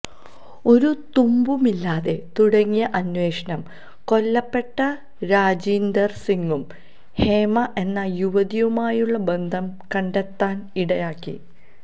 ഒരുതുമ്പുമില്ലാതെ തുടങ്ങിയ അന്വേഷണം കൊല്ലപ്പെട്ട രജീന്ദര് സിങ്ങും ഹേമ എന്ന യുവതിയുമായുള്ള ബന്ധം കണ്ടെത്താന് ഇടയാക്കി